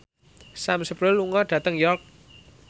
Sam Spruell lunga dhateng York